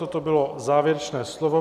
Toto bylo závěrečné slovo.